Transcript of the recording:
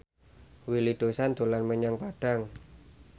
Willy Dozan dolan menyang Padang